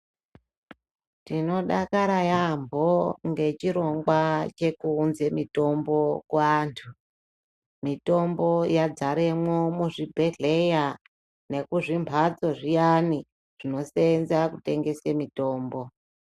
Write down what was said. Tinofakara yampho ngechirongwa chekuunze mitombo kuantu mitombo yadzaremwo muzvibhedhleya nekuzvimphatso zviyani zvinoseenza kutengese mitombo.